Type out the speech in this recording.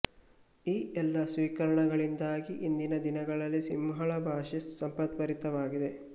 ಈ ಎಲ್ಲಾ ಸ್ವೀಕರಣಗಳಿಂದಾಗಿ ಇಂದಿನಿಂದ ದಿನಗಳಲ್ಲಿ ಸಿಂಹಳ ಭಾಷೆ ಸಂಪತ್ಬರಿತವಾಗಿದೆ